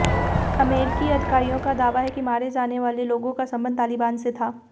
अमरीकी अधिकारियों का दावा है कि मारे जाने वाले लोगों का संबंध तालेबान से था